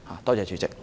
多謝主席。